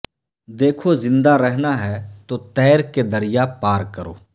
دیکھو زندہ رہنا ہے تو تیر کے دریا پار کرو